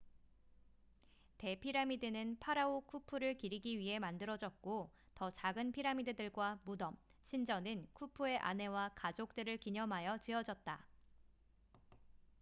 대피라미드는 파라오 쿠푸를 기리기 위해 만들어졌고 더 작은 피라미드들과 무덤 신전은 쿠푸의 아내와 가족들을 기념하여 지어졌다